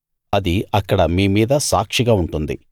అది అక్కడ మీ మీద సాక్షిగా ఉంటుంది